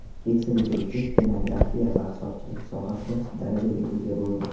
Keksa bitiruvchi stenografiya va hisobchilik sohasida darajaga ega bo‘ldi.